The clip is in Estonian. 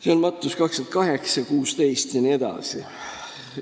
see on Matteuse 28:16 jne.